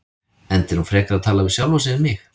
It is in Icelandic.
Enda er hún frekar að tala við sjálfa sig en mig.